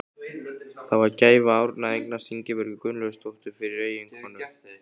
Það var gæfa Árna að eignast Ingibjörgu Gunnlaugsdóttur fyrir eiginkonu.